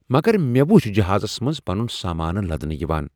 مگر مےٚ وچھ جہازس منز پنن سامانہ لدنہٕ یِوان!